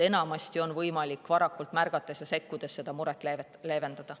Enamasti on võimalik varakult märgates ja sekkudes muret leevendada.